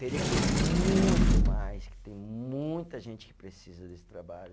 Teria que ter muito mais, que tem muita gente que precisa desse trabalho.